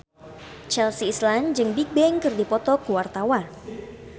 Chelsea Islan jeung Bigbang keur dipoto ku wartawan